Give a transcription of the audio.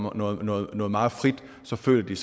er noget noget meget frit så føler de